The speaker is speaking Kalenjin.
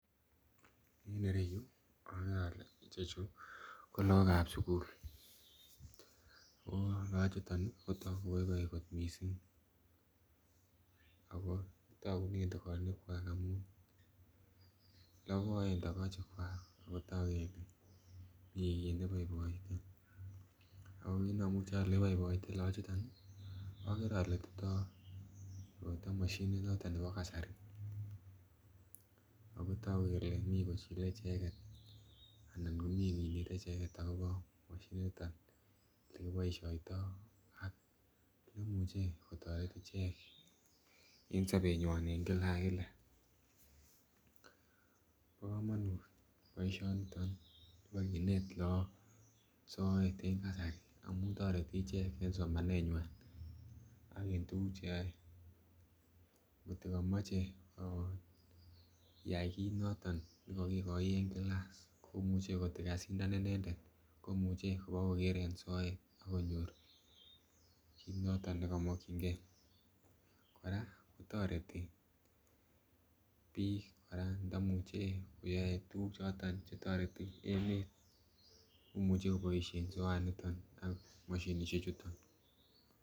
En ireyuu okere ole ichechu ko lok ab sukul olochutin nii kotoku koboiboi kot missing ako tokunen tokochi kwak amun loboen tokochi kwak ako toku kele mii kit neiboiboite ako kit nomuche ole iboiboite Lokochuton nii okere ole tindo koroiton moshinit noton nebo kasari, ako toku kele mii kochile cheket anan komii kinete icheket akobo moshinit niton olekiboishoito aak nemuche kotoret ichek en sobenywan en kila ak kila. Bo komonut boishoniton nibo kinet lok soet en kasari amu toreti icheket en somanenywan ak en tukuk cheyoe kotko komoche iyai kit nekokikoi en class komuche kotko kasindan inendet komuche kobokoker en soet ak konyor kii noton nekomokingee. Koraa kotoreti bik Koraa ndomuche koyoe tukuk choton chetoreti emet komuche koboishen soaniton ak moshinishek chuton.